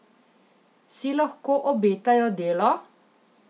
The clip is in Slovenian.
Si lahko obetajo delo?